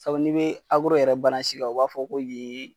Sabu n'i bee yɛrɛ kan u b'a fɔ k'o yee